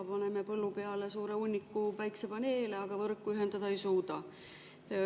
Me paneme põllu peale suure hunniku päikesepaneele, aga võrku ühendada neid ei suuda.